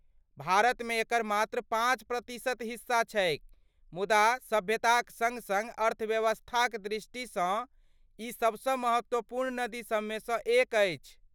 भारतमे एकर मात्र पाँच प्रतिशत हिस्सा छैक मुदा सभ्यताक सङ्ग सङ्ग अर्थव्यवस्थाक दृष्टिसँ ई सबसँ महत्वपूर्ण नदीसबमे सँ एक अछि।